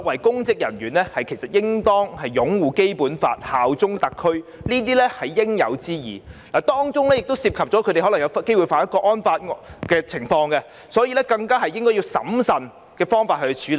公職人員擁護《基本法》及效忠特區是應有之義，當中亦可能涉及觸犯《香港國安法》的情況，所以更應審慎處理。